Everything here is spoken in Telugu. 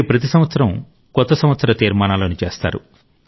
మీరు ప్రతి సంవత్సరం కొత్త సంవత్సర తీర్మానాలను చేస్తారు